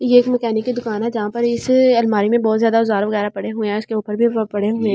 ये एक मैकेनिक की दुकान है जहाँ पर इस अलमारी में बहुत ज्यादा वगेरा पड़े हुए है उसके ऊपर भी पड़े हुए है।